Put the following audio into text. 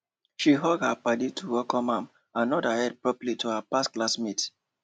she hug her paddy to welcome am and nod head properly to her past class mate